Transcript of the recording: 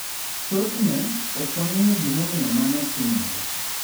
Thothne, ok wang'eyo gimomiyo mano timore.